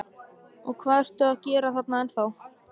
Og hvað ertu að gera þarna ennþá?